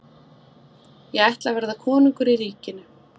Ég ætla að verða konungur í ríkinu.